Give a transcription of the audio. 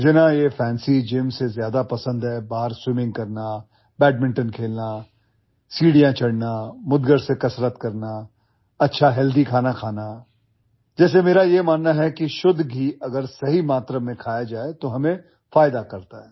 मुझे ना ये फैंसी जिम से ज्यादा पसंद है बाहर स्विमिंग करना बैडमिंटन खेलना सीढ़ियाँ चढ़ना मुद्गर से कसरत करना अच्छा हेल्दी खाना जैसे मेरा यह मानना है कि शुद्ध घी अगर सही मात्रा में खाया जाए तो हमें फायदा करता है